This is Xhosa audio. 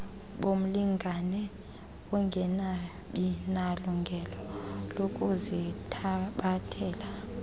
bomlingane ongekabinalungelo lokuzithabathela